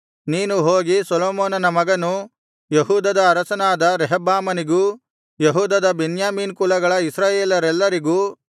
ನೀನು ಹೋಗಿ ಸೊಲೊಮೋನನ ಮಗನೂ ಯೆಹೂದದ ಅರಸನಾದ ರೆಹಬ್ಬಾಮನಿಗೂ ಯೆಹೂದದ ಬೆನ್ಯಾಮೀನ್ ಕುಲಗಳ ಇಸ್ರಾಯೇಲರೆಲ್ಲರಿಗೂ